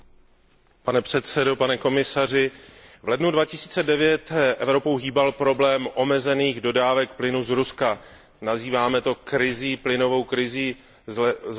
Pane předsedo, pane komisaři, v lednu 2009 Evropou hýbal problém omezených dodávek plynu z Ruska, nazýváme to plynovou krizí z ledna